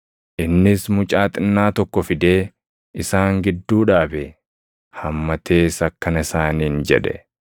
Innis mucaa xinnaa tokko fidee isaan gidduu dhaabe. Hammatees akkana isaaniin jedhe;